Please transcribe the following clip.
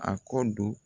A kɔ don